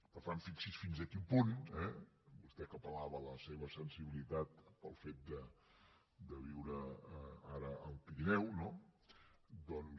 per tant fixi’s fins a quin punt vostè que apella seva sensibilitat pel fet de viure ara al pirineu no doncs